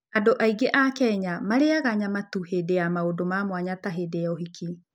Andũ aingĩ a Kenya marĩaga nyama tu hĩndĩ ya maũndũ ma mwanya ta hĩndĩ ya ũhiki.